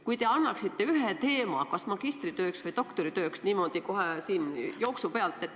Kas te võiksite anda ühe teema kas magistritööks või doktoritööks, niimoodi kohe jooksu pealt?